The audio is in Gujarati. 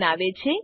બનાવે છે